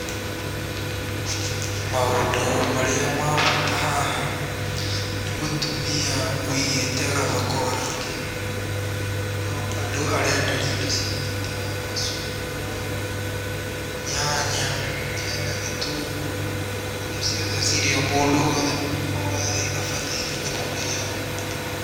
Maũndũ marĩa ma bata haha nĩ mũtumia wĩigĩte gathoko gake, no andũ arenderia indo ciake ta macungwa, nyanya, hena gĩtũngũrũ, indo ciothe cirĩa mũndũ wothe wa thĩ abataire nĩ kũrĩaga.